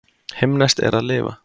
Himneskt er að lifa.